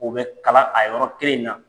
O bɛ kalan a yɔrɔ kelen in na.